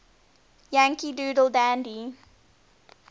yankee doodle dandy